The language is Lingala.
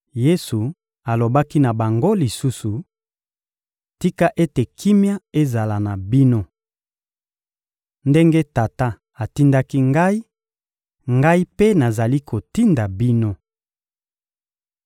Yesu alobaki na bango lisusu: — Tika ete kimia ezala na bino! Ndenge Tata atindaki Ngai, Ngai mpe nazali kotinda bino.